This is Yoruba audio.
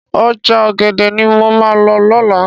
Ọjà ọ̀gẹ̀dẹ̀ ni mo máa lọ lọ́la.